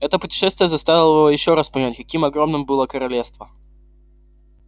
это путешествие заставило его ещё раз понять каким огромным было королевство